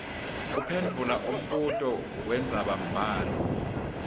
kuphendvula umbuto wendzabambhalo